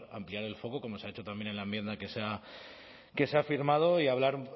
ampliar el foco como se ha hecho también en la enmienda que se ha firmado hoy hablar